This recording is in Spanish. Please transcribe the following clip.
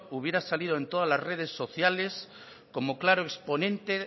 hubiera salido en todas las redes sociales como claro exponente